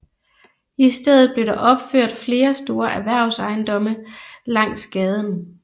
I stedet blev der opført flere store erhvervsejendomme langs gaden